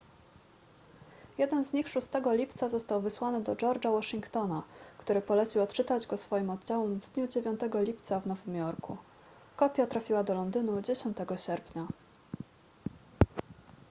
jeden z nich 6 lipca został wysłany do george'a washingtona który polecił odczytać go swoim oddziałom w dniu 9 lipca w nowym jorku kopia trafiła do londynu 10 sierpnia